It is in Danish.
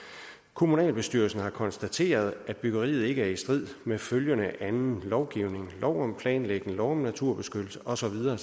kommunalbestyrelsen har konstateret at byggeriet ikke er i strid med følgende anden lovgivning lov om planlægning lov om naturbeskyttelse og så videre